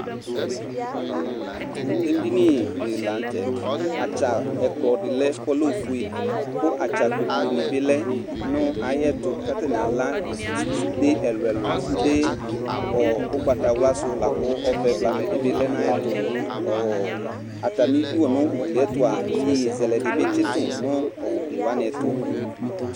Edini dɩnɩ la nʋ tɛ Atsa ɛkplɔ dɩ lɛ kʋ ɔlɛ ofue kʋ atsa kpoku dɩnɩ bɩ lɛ nʋ ayɛtʋ kʋ atanɩ ala sunde ɛlʋ-ɛlʋ, sunde ɔ ʋgbatawla sʋ la kʋ ɔvɛ blamɛ dɩ bɩ lɛ nʋ ayɛtʋ Ɔ atamɩdu nʋ ugli yɛ tʋ a, iyeye zɛlɛ dɩ bɩ tsɩtʋ nʋ ugli wanɩ tʋ